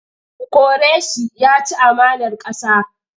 Ku kore shi! Ya ci amanar ƙasa.